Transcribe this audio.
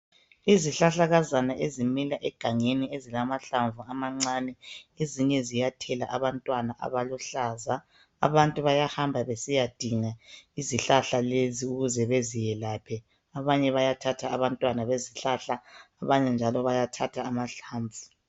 izihlahlakazana ezimila egangeni ezilamahlamvu amancane ezinye ziyathela abantwana abaluhlaza abantu bayahamab besiyadinga izihlahla lezi ukuze beziyelaphe abanye bayathatha abantwana bezihlahla abanye njalo bayathatha amahlamvu